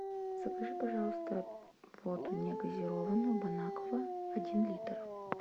закажи пожалуйста воду негазированную бонаква один литр